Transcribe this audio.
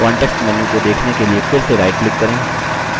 context menu को देखने के लिए फिर से rightclick करें